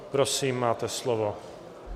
Prosím, máte slovo.